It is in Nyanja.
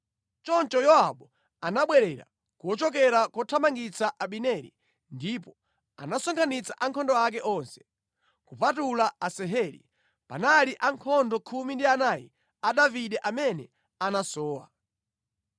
Choncho Yowabu anabwerera kuchokera kothamangitsa Abineri ndipo anasonkhanitsa ankhondo ake onse. Kupatula Asaheli, panali ankhondo khumi ndi anayi a Davide amene anasowa.